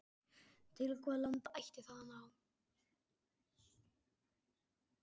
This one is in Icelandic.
Til hvaða landa ætti það að ná?